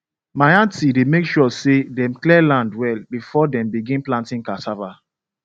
my aunty dey make sure say dem clear land well before dem begin planting cassava